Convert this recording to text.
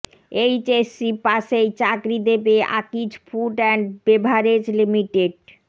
HSC পাসেই চাকরি দেবে Akij food and beverage limited